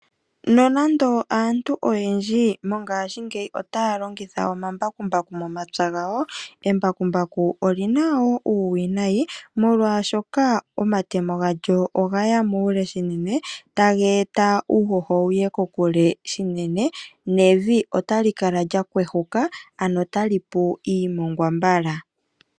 Nonando aantu oyendji mongaashingeyi otaya longitha omambakumbaku momapya gawo. Embakumbaku olina uuwinayi molwaashoka omatemo gawo ogaya muule shinene taga eta uushosho wuye kokule shinene nevi otali kala lyahwehwuka ano talipu iimongwa mbala.